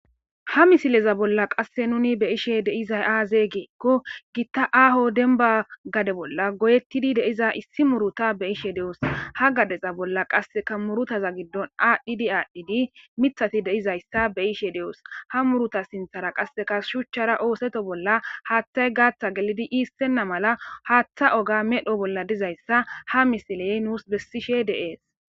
Ha misileza bolla qasse nuni be'ishe dizay aaze gidiko,gita aaho demba gade bolla goyetidi de'iza issi muuruta be'ishe doos. Ha gadeza bolla qasse murutaza giddon aadhidi aadhidi miththati de'izaysa be'ishe doos. Ha muuruta sinthera qasseka shuchchara ootheto bolla haathay gaathi gelidi iisonna mala haatha oge medho bolla dizaysa ha misiley nuus bessishe de'ees.